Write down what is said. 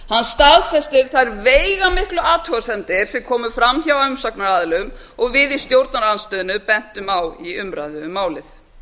hann staðfestir þær veigamiklu athugasemdir sem komu fram hjá umsagnaraðilum og við í stjórnarandstöðunni bentum á í umræðum um málið